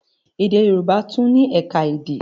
Èdè Yorùbá tún ni ẹ̀ka èdè.